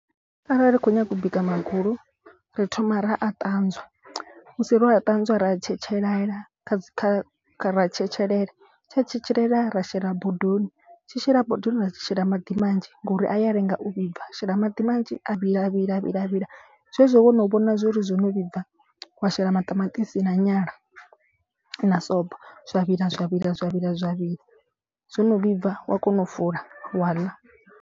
Arali u kho nyaga u bika magulu ri thoma ra a ṱanzwa musi ro a ṱanzwa ra a tshetshelela kha dzi kha ra tshetshelela. Tshia tshetshelela ra shela bodoni tshi shela bodoni ra shela maḓi manzhi ngori a ya lenga u vhibva. Shela maḓi manzhi a vhila ya vhila ya vhila ya vhila zwezwo wo no vhona zwori zwo no vhibva. Wa shela maṱamaṱisi na nyala na sobo zwa vhila zwa vhila zwa vhila zwa vhila zwo no vhibva wa kona u fula wa ḽa.